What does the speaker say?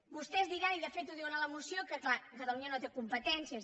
vostès diran i de fet ho diuen a la moció que clar catalunya no té competències